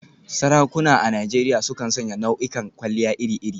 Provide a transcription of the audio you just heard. Sarakuna a Najeriya sukan sanya nau'ikan kwalliya iri-iri.